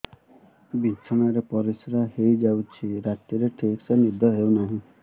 ବିଛଣା ରେ ପରିଶ୍ରା ହେଇ ଯାଉଛି ରାତିରେ ଠିକ ସେ ନିଦ ହେଉନାହିଁ